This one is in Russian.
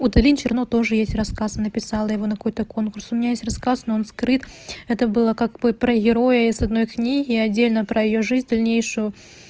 у талин черно тоже есть рассказ написала его на какой-то конкурс у меня есть рассказ но он скрыт это было как бы про героя из одной книги и отдельно про её жизнь дальнейшую